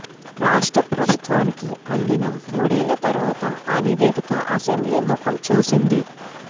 రాష్ట్ర ప్రభుత్వానికి అందిన మూడేళ్ల తర్వాత ఆ నివేదిక అసెంబ్లీ ముఖం చూసింది